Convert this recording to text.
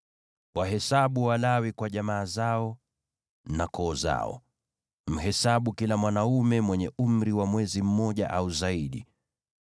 “Wahesabu Walawi kwa jamaa zao na koo zao. Mhesabu kila mwanaume mwenye umri wa mwezi mmoja au zaidi.”